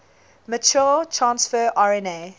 mature transfer rna